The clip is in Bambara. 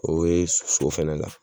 O ye so fɛnɛ la